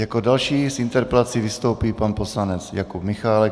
Jako další s interpelací vystoupí pan poslanec Jakub Michálek.